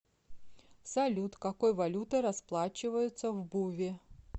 салют какой валютой расплачиваются в буве